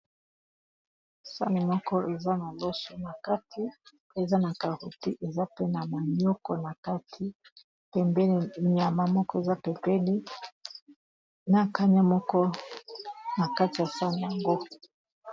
Sani moko eza na loso na kati eza na caroti eza pe na manioko na kati pembeni nyama moko eza pembeni na kanya moko na kati ya sani yango.